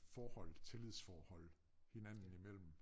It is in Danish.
Forhold tillidsforhold hinanden i mellem